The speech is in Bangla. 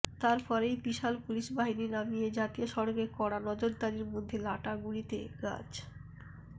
তার পরেই বিশাল পুলিশ বাহিনী নামিয়ে জাতীয় সড়কে কড়া নজরদারির মধ্যে লাটাগুড়িতে গাছ